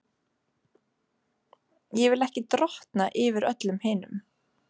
Ég vil ekki drottna yfir öllum hinum.